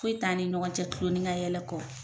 Foyi t'an ni ɲɔgɔn cɛ tuloni kayɛlɛ kɔ.